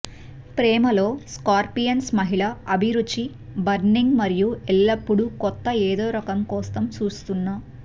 ప్రేమ లో స్కార్పియన్స్ మహిళ అభిరుచి బర్నింగ్ మరియు ఎల్లప్పుడూ కొత్త ఏదో కోసం చూస్తున్న